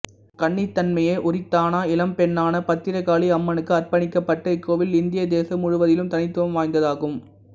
கன்னித்தன்மையே உரித்தான இளம்பெண்ணான பத்திரகாளி அம்மனுக்கு அர்ப்பணிக்கப்பட்ட இக்கோவில் இந்திய தேசம் முழுவதிலும் தனித்துவம் வாய்ந்ததாகும்